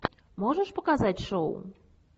можешь показать шоу